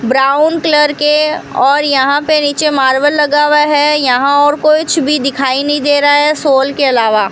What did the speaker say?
Brown colour के और यहां पे नीचे मार्बल लगा हुआ है यहां और कुछ भी दिखाई नहीं दे रहा है शॉल के अलावा।